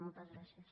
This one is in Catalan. moltes gràcies